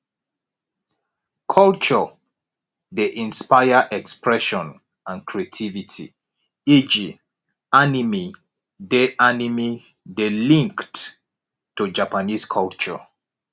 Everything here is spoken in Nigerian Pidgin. culture dey inspire expression and creativity eg animie dey animie dey linked to japanese culture